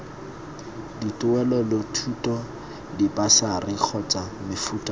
dituelelothuto dibasari kgotsa mofuta ope